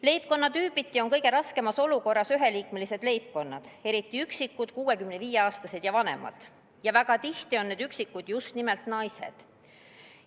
Leibkonnatüübiti on kõige raskemas olukorras üheliikmelised leibkonnad, eriti üksikud 65-aastased või vanemad inimesed, ning väga tihti on need üksikud just nimelt naised.